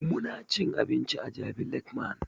Muna cin abinci a jabi lake mall